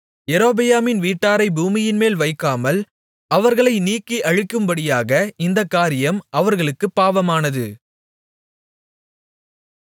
யெரொபெயாமின் வீட்டாரை பூமியின்மேல் வைக்காமல் அவர்களை நீக்கி அழிக்கும்படியாக இந்தக் காரியம் அவர்களுக்குப் பாவமானது